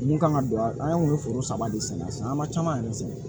Mun kan ka don a la an kun bɛ foro saba de sɛnɛ an ma caman yɛrɛ sɛgɛn